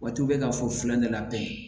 Waati u bɛ ka fɔ ne la bɛɛ